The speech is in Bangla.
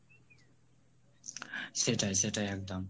সেটাই সেটাই একদম